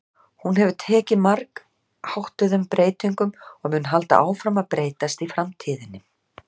Hún hefur tekið margháttuðum breytingum og mun halda áfram að breytast í framtíðinni.